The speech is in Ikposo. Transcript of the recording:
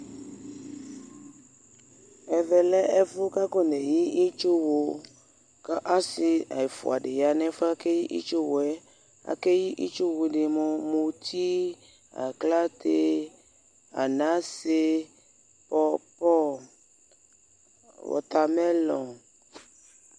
Ɛvɛ lɛ ɛfʋ yɛ bʋakʋ akoneyi itsuɣʋ, kʋ asɩ ɛfʋa dɩnɩ ya nʋ efʋ yɛ bʋakʋ akoneyi itsuɣʋ yɛ Aka eyi itsuɣʋ dini mʋ : mʋti, aklate, anase, pɔpɔ nʋ wɔtamɛlɔ